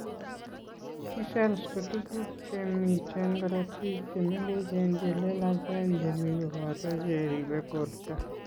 T cells ko tuguk che miten korotiik che meng'echen che lelachen che mi koboto che ribe borto.